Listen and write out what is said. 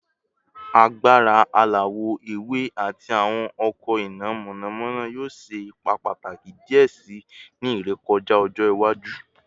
Agbara alawọ ewe ati awọn ọkọ ina mọnamọna yoo ṣe ipa pataki diẹ sii ni irekọja ọjọ iwaju